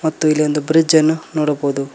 ಮತ್ತು ಇಲ್ಲಿ ಒಂದು ಬ್ರಿಡ್ಜ್ ಅನ್ನು ನೋಡಬಹುದು.